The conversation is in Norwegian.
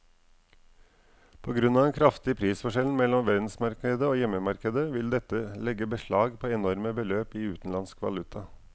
På grunn av den kraftige prisforskjellen mellom verdensmarkedet og hjemmemarkedet vil dette legge beslag på enorme beløp i utenlandsk valuta.